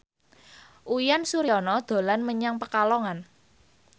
Uyan Suryana dolan menyang Pekalongan